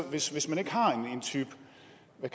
år hvis hvis man ikke har